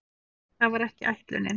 Það var ekki ætlunin.